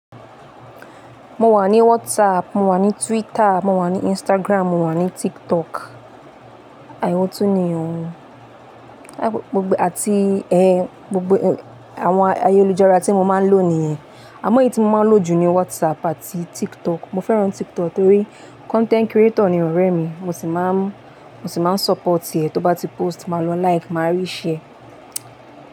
Mo wà ní WhatsApp, mo wà ní Twitter, mo wà ní Instagram, mo wà ní TikTok. Ewọ tún ni òun. Àti, gbogbo àwọn ayélujára tí mo máa ń lò nìyẹn. Àmọ ẹyí tí mo máa ń lò jù ni WhatsApp àti TikTok. Mo fẹ́ràn TikTok torí content creator ni ọ̀rẹ́ mi. Mo sì máa ń, mo sì máa ń support rẹ̀. Tó bá ti post, màá lọ like, màá reshare.